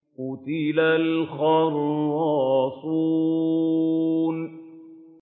قُتِلَ الْخَرَّاصُونَ